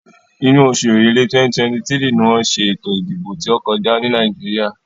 Inú oṣù Èrèlé, 2023 ni wọ́n ṣe ètò ìdìbò tí ó kọjá ní Nàìjíríà.